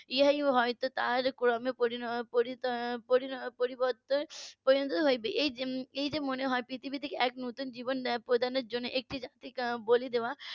ইহাই হয়তো তার পরি~ পরি~ পরিবর্তন পরিণত হবে এই যেমনি এই যে মনে হয় পৃথিবীতে এক নতুন জীবন প্রদানের জন্য একটি বলি দেওয়া